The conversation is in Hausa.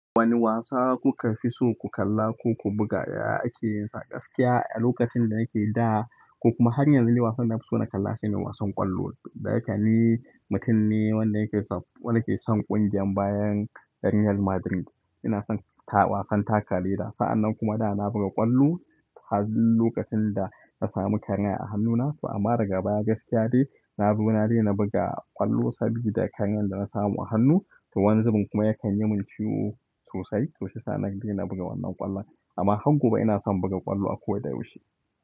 Wane wasa kuka fi so ku kalla ko ku buga ya ake yinsa gaskiya a lokacin da yake da ko kuma har yanzu ne wasan da na fi so na kalla shine wasan ƙwallo. Da yake ni mutum ne wanda yake son ƙungiyar bayan Real Madrid. Ina son wasan taka leda. Sa'annan kuma da na buga ƙwallo, har dik lokacin da na samu karyan a hannuna to amma daga baya gaskiya dai na bi na dai na buga ƙwallo saboda karayan da na samu a hannu. To wani zubin kuma yakan yi mun ciwo sosai-sosai. Sa'nan dai na buga wannan ƙwallon amma har gobe ina son buga ƙwallo a kowa da yaushe.